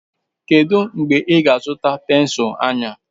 Kedu mgbe ị ga-azụta pensụl anya?